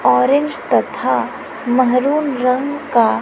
orange तथा मेहरून रंग का--